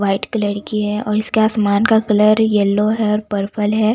White colour की है और इसके आसमान का कलर येलो है और पर्पल है।